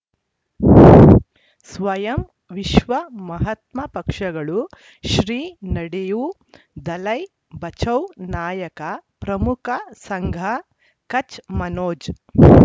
ಸ್ವಯಂ ವಿಶ್ವ ಮಹಾತ್ಮ ಪಕ್ಷಗಳು ಶ್ರೀ ನಡೆಯೂ ದಲೈ ಬಚೌ ನಾಯಕ ಪ್ರಮುಖ ಸಂಘ ಕಚ್ ಮನೋಜ್